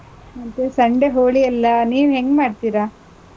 ಮತ್ತೆ Sunday ಹೋಳಿ ಅಲ್ಲಾ, ನೀವ್ ಹೆಂಗ್ ಮಾಡ್ತೀರಾ?